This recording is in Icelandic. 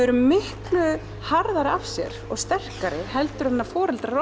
eru miklu harðari af sér og sterkari heldur en foreldrar